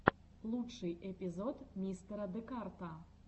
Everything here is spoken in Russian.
лучший эпизод мистера декарта